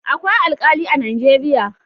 Akwai Alkali a Najeriya.